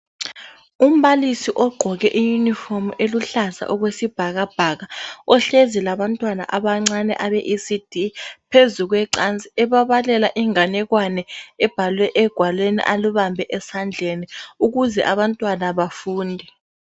Umbalisi ogqoke iyunifomu eluhlaza okwesibhakabhaka, ohlezi labantwana abancane abeECD phezu kwecansi ebabalela inganekwane ebhalwe egwalweni alubambe esandleni ukuze abantwana bafunde.